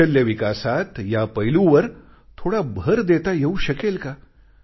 कौशल्य विकासात या पैलूवर थोडा भर देता येऊ शकेल का